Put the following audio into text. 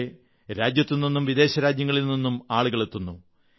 അവിടെ രാജ്യത്തുനിന്നും വിദേശരാജ്യങ്ങളിൽ നിന്നും ആളുകളെത്തുന്നു